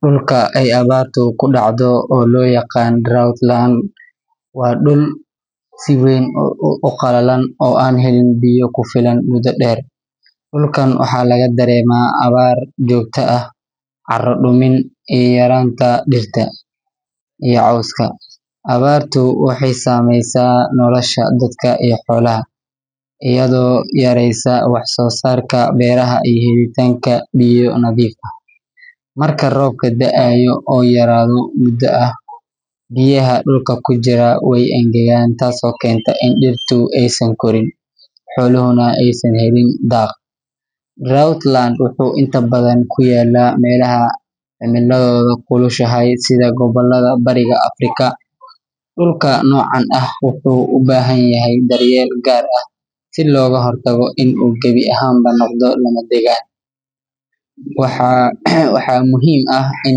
Dhulka ay abaartu ku dhacdo, oo loo yaqaan drought land, waa dhul si weyn u qallalan oo aan helin biyo ku filan muddo dheer. Dhulkan waxaa laga dareemaa abaar joogto ah, carro dumin, iyo yaraanta dhirta iyo cawska. Abaartu waxay saameysaa nolosha dadka iyo xoolaha, iyadoo yareysa wax-soosaarka beeraha iyo helitaanka biyo nadiif ah. Marka roobka da’ayo oo yaraado muddo ah, biyaha dhulka ku jira way engegaan, taasoo keenta in dhirtu aysan korin, xooluhuna aysan helin daaq. Drought land wuxuu inta badan ku yaallaa meelaha cimilladoodu kulushahay sida gobollada bariga Afrika. Dhulka noocan ah wuxuu u baahan yahay daryeel gaar ah si looga hortago in uu gebi ahaanba noqdo lama degaan. Waxaa muhiim ah in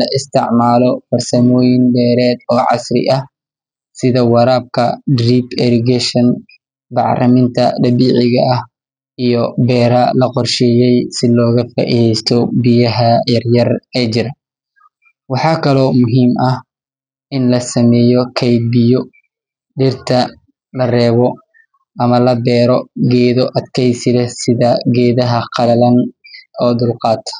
la isticmaalo farsamooyin beereed oo casri ah sida waraabka drip irrigation, bacriminta dabiiciga ah, iyo beero loo qorsheeyay si looga faa’iideysto biyaha yaryar ee jira. Waxaa kaloo muhiim ah in la sameeyo kayd biyo, dhirta la reebo ama la beero geedo adkaysi leh sida geedaha qalalan u dulqaata.